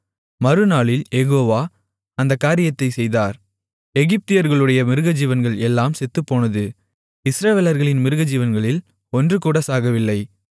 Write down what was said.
மறுநாளில் Jehovah அந்தக் காரியத்தைச் செய்தார் எகிப்தியர்களுடைய மிருகஜீவன்கள் எல்லாம் செத்துப்போனது இஸ்ரவேலர்களின் மிருகஜீவன்களில் ஒன்றுகூட சாகவில்லை